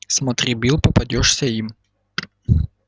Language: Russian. смотри билл попадёшься им